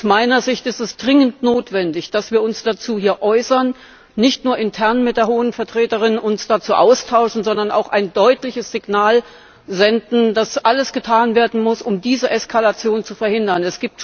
Aus meiner Sicht ist es dringend notwendig, dass wir uns dazu hier äußern, nicht nur uns intern mit der Hohen Vertreterin dazu austauschen, sondern auch ein deutliches Signal senden, dass alles getan werden muss, um diese Eskalation zu verhindern.